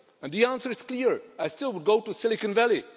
And the answer is clear I still would go to Silicon Valley.